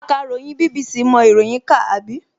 Akàròyìn BBC mọ ìròyìn kà, àbí?